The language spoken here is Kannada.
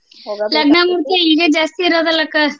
ಲಗ್ನ ಮುಹೂರ್ತ ಈಗೆ ಜಾಸ್ತೀ ಇರೋದಲ್ಲಕ್ಕ.